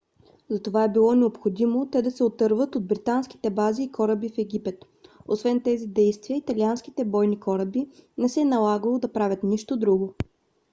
затова е било необходимо те да се отърват от британските бази и кораби в египет. освен тези действия италианските бойни кораби не се е налагало да правят нищо друго